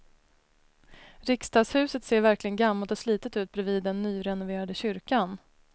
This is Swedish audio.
Riksdagshuset ser verkligen gammalt och slitet ut bredvid den nyrenoverade kyrkan.